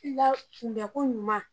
K'i ka kun bɛ ko ɲuman